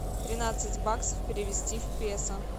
тринадцать баксов перевести в песо